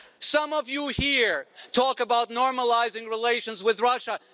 Some of you here talk about normalising relations with Russia.